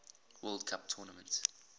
world cup tournament